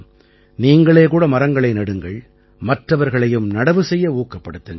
நீங்களே கூட மரங்களை நடுங்கள் மற்றவர்களையும் நடவு செய்ய ஊக்கப்படுத்துங்கள்